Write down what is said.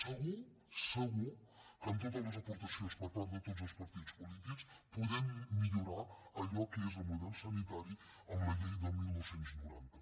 segur segur que en totes les aportacions per part de tots els partits polítics podem millorar allò que és el model sanitari amb la llei de dinou noranta